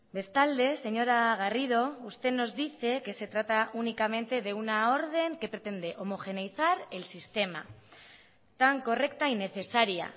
bestalde señora garrido usted nos dice que se trata únicamente de una orden que pretende homogeneizar el sistema tan correcta y necesaria